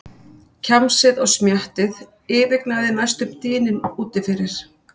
Kjamsið og smjattið yfirgnæfði næstum dyninn úti fyrir.